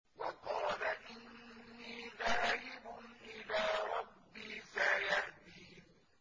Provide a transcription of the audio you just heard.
وَقَالَ إِنِّي ذَاهِبٌ إِلَىٰ رَبِّي سَيَهْدِينِ